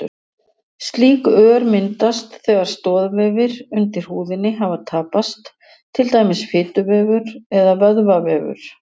Slík ör myndast þegar stoðvefir undir húðinni hafa tapast, til dæmis fituvefur eða vöðvavefur.